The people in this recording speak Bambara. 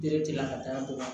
Bere tɛ ka taa b'o la